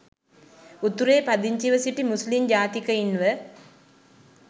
උතුරේ පදිංචිව සිටි මුස්ලිම් ජාතිකයින්ව